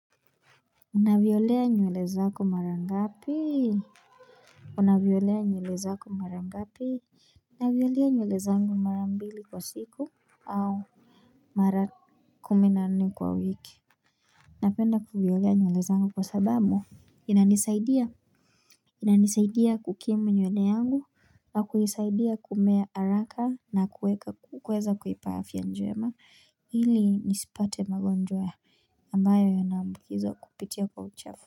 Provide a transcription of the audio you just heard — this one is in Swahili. Unavyolea nywle zako mara ngapi? Unaviolea nyule zaku marangapi? Navyolea nywele zangu mara mbili kwa siku, au mara kumi na nne kwa wiki. Napenda kuvyolea nywele zangu kwa sababu, inanisaidia? Inanisaidia kukimu nywele yangu, kwa kuisaidia kumea haraka na kuweka kuweza kuipa afya njema ili nisipate magonjwa ambayo yanaambukizwa kupitia kwa uchafu.